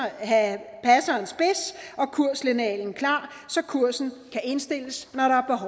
og kurslinealen klar så kursen kan indstilles